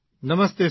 Namaste sir